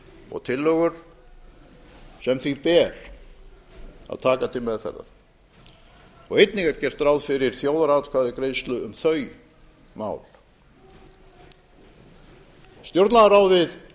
og tillögur sem því ber að taka til meðferðar og einnig er gert ráð fyrir þjóðaratkvæðagreiðslu um þau mál stjórnlagaráðið